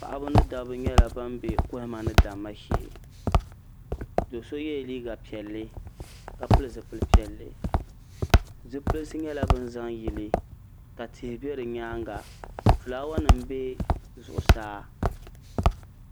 paɣaba mini dabba nyɛla ban be kohimma ni damma shee do'so yela liiga piɛlli ka pili zipili piɛlli zipilsi nyɛla bin zaŋ yili ka tihi be di nyaanga filaawanima nyɛla din be zuɣusaa